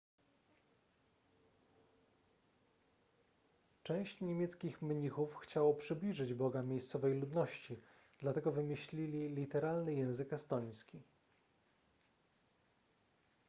część niemieckich mnichów chciało przybliżyć boga miejscowej ludności dlatego wymyślili literalny język estoński